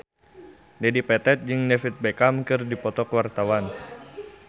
Dedi Petet jeung David Beckham keur dipoto ku wartawan